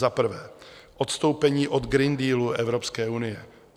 Za prvé, odstoupení od Green Dealu Evropské unie.